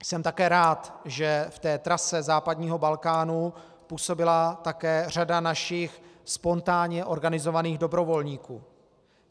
Jsem také rád, že v té trase západního Balkánu působila také řada našich spontánně organizovaných dobrovolníků.